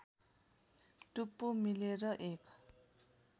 टुप्पो मिलेर एक